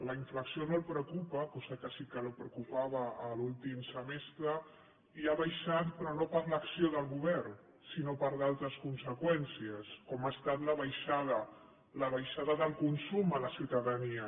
la inflació no el preocupa cosa que sí que el preocupava l’últim semestre i ha baixat però no per l’acció del govern sinó per d’altres conseqüències com ha estat la baixada del consum a la ciutadania